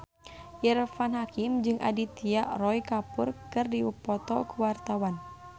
Irfan Hakim jeung Aditya Roy Kapoor keur dipoto ku wartawan